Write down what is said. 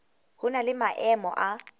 ho na le maemo a